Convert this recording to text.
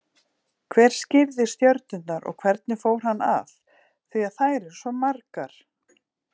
Hver skírði stjörnurnar og hvernig fór hann að, því að þær eru svo margar?